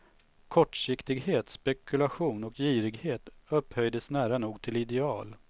Kortsiktighet, spekulation och girighet upphöjdes nära nog till ideal.